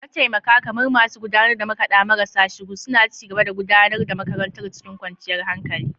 Mataimaka, kamar masu gudanar da makada marasa shiru, suna ci gaba da gudanar da makarantar cikin kwanciyar hankali.